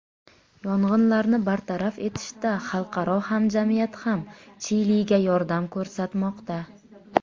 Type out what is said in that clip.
Yong‘inlarni bartaraf etishda xalqaro hamjamiyat ham Chiliga yordam ko‘rsatmoqda.